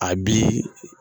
A bi